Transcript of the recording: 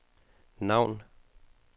navn